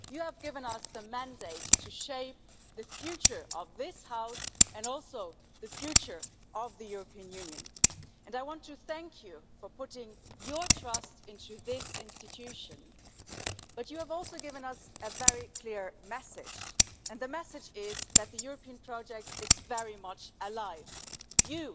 You have given us the mandate to shape the future of this House, and also the future of the European Union, and I want to thank you for putting your trust in this institution. But you have also given us a very clear message, and the message is that the European project is very much alive. You,